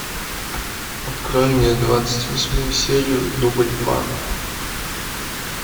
открой мне двадцать восьмую серию дубль два